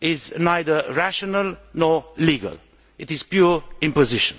is neither rational nor legal it is pure imposition.